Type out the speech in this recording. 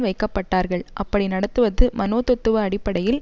வைக்கப்பட்டார்கள் அப்படி நடத்துவது மனோத்தத்துவ அடிப்படையில்